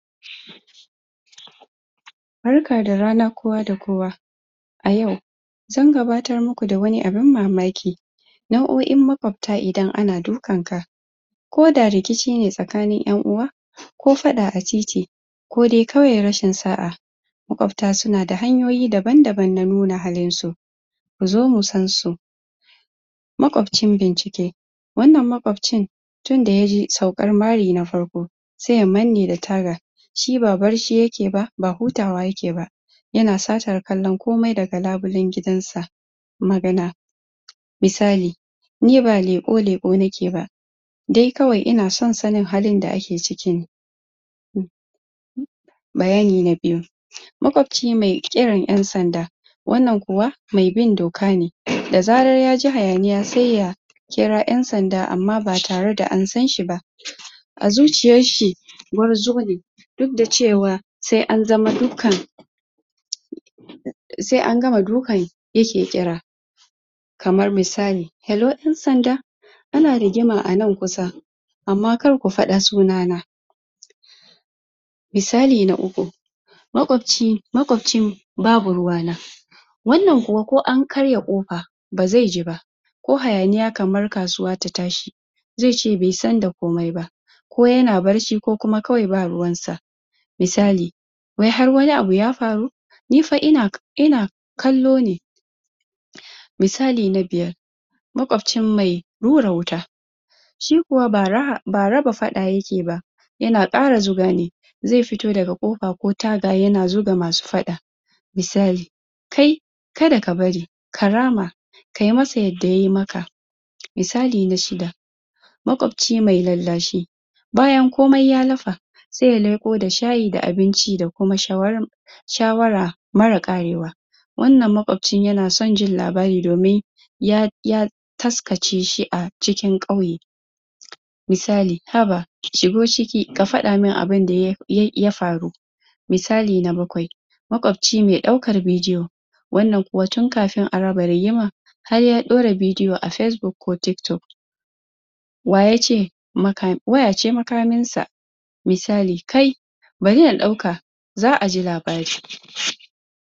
Barka da rana kowa da kowa a yau zan gabatar muku da wani abun mamaki nauoin maƙwabta idan ana dukan ka ko da rikici ne tsakanin ƴanuwa ko faɗa a titi kodai kawai rashin sa'a maƙwabta su nada hanyoyin daban-daban na nuna halin su zo mu san su maƙwabcin bincike wanan maƙwabcin tun daya zo, saukar mari na farko se ya mane da taga shi ba barci yake ba, ba hutawa yake ba yana satar kallon komai daga labullen gidansa misali ni ba leƙo-leƙo nake ba de kawai ina son sanin halin da ake ciki bayani na biyu maƙwabci me irin yan sanda wannan kuwa me bin doka ne, da zarar yaj ji hayaniya, se ya kira yan sanda amma ba tare da an sanshi ba a zuciyar shi gwarzo ne duk da cewa se an zama dukkan se an gama dukkan yake kira kamar misali, hello yan sanda ana rigima a nan kusa amma kar ku faɗa sunana misli na uku maƙwabcin babu ruwana wannan kuwa ko an karya ƙofa ba ze ji ba ko hayaniya kamar kasuwa ta tashi ze ce be san da komai ba ko yana bacci ko kuma kawai ba ruwan sa misali ni har wani abu ya faru ni fa ina ina ina kallo ne misali na biyar maƙwabci me hura wuta shi kuwa ba ba raba faɗa yake ba yana ƙara zuga ne ze fito daga kofa ko taga yana zuga masu faɗa misali kai ka da ka bari ka rama ka masa yadda yayi maka misali na shida maƙwanci me lallashi bayan komai ya lafa se ya leƙo da shayi da abinci da kuma shawara shawara mara ƙare wa wannan maƙwabin yana son jin labari domin ya, ya kaskace shi a cikin ƙauye misali, haba shigo ciki ka faɗa mun abun abun da ya faru misali na bakwai maƙwabci me daukan bidiyo wannan kuwa tun kafin a raba rigima har ya ɗora bidiyo a facebook ko tik-tok wayace wayace makamin sa misali kai bari na ɗauka za'a ji labari